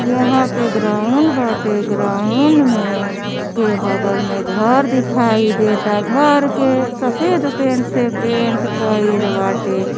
यहाँ पे ग्राउंड बाटे। ग्राउंड में के बगल में घर दिखाई देता। घर के सफेद पेंट से पेन्ट कईल बाटे।